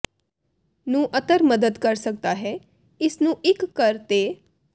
ਨੂੰ ਅਤਰ ਮਦਦ ਕਰ ਸਕਦਾ ਹੈ ਇਸ ਨੂੰ ਟਿਕ ਕਰ ਤੇ